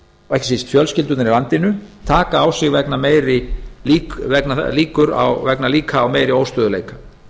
ekki síst fjölskyldurnar í landinu taka á sig vegna meiri líkur á óstöðugleika